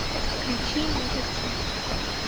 включи нигатив